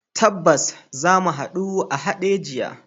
Tabbas, zamu hadu a Hadejiya.